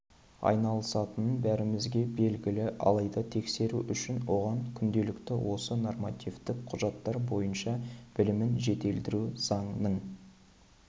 айналысатынын бәрімізге белгілі алайда тексеру үшін оған күнделікті осы нормативтік құжаттар бойынша білімін жетілдіру заңның